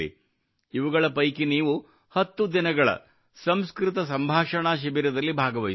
ಇವುಗಳ ಪೈಕಿ ನೀವು 10 ದಿನಗಳ ಸಂಸ್ಕೃತ ಸಂಭಾಷಣಾ ಶಿಬಿರ ದಲ್ಲಿ ಭಾಗವಹಿಸಬಹುದು